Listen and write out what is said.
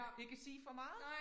Ikke sige for meget